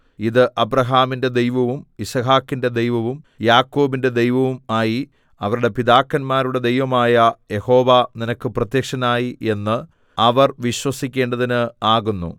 ഇത് അബ്രാഹാമിന്റെ ദൈവവും യിസ്ഹാക്കിന്റെ ദൈവവും യാക്കോബിന്റെ ദൈവവും ആയി അവരുടെ പിതാക്കന്മാരുടെ ദൈവമായ യഹോവ നിനക്ക് പ്രത്യക്ഷനായി എന്ന് അവർ വിശ്വസിക്കേണ്ടതിന് ആകുന്നു